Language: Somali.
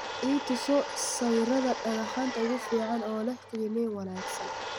i tuso sawirada dhagxaanta ugu fiican oo leh qiimeyn wanaagsan